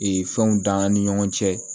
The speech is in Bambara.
Ee fɛnw dan an ni ɲɔgɔn cɛ